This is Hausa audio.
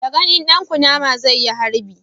Da ganin dan kunama zai yi harbi